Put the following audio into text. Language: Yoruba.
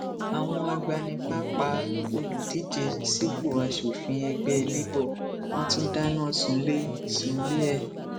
àwọn agbanipa pa olùdíje sípò aṣòfin ẹgbẹ́ labour wọn tún dáná sunlé sunlé ẹ̀